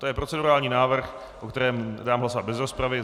To je procedurální návrh, o kterém dám hlasovat bez rozpravy.